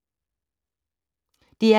DR P2